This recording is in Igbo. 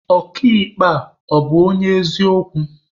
Ọka ikpe a, ọ bụ onye eziokwu?